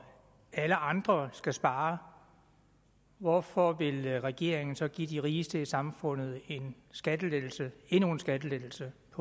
alle andre skal spare hvorfor vil regeringen så give de rigeste i samfundet en skattelettelse endnu en skattelettelse på